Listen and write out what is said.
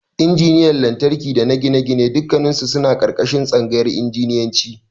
Injiniyan Lantarki dana Gine-gine dukkannisu suna ƙarƙashin Tsangayar Injiniyanci.